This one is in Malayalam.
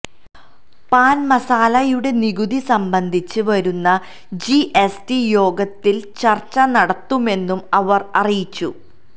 പാൻ മസാലയുടെ നികുതി സംബന്ധിച്ച് വരുന്ന ജിഎസ്ടി യോഗത്തിൽ ചർച്ച നടത്തുമെന്നും അവർ അറിയിച്ചു